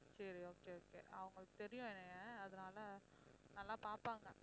சரி okay okay அவங்களுக்கு தெரியும் என்னைய அதனால நல்ல பாப்பாங்க